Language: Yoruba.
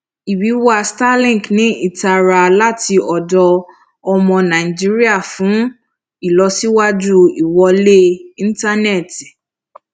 ìwíwá starlink ní ìtara láti ọdọ ọmọ nàìjíríà fún ìlọsíwájú ìwọlé ìntánẹti